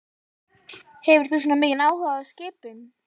Hefur þú svona mikinn áhuga á skipum?